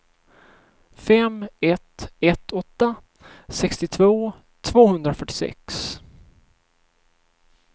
fem ett ett åtta sextiotvå tvåhundrafyrtiosex